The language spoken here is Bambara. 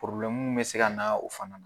be se ka na o fana na.